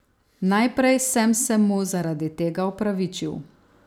Najprej sem se mu zaradi tega opravičil.